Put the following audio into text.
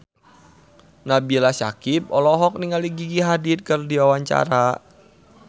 Nabila Syakieb olohok ningali Gigi Hadid keur diwawancara